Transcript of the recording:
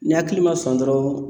Ni hakili ma sɔn dɔrɔn